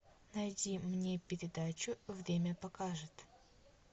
найди мне передачу время покажет